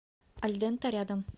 альдента рядом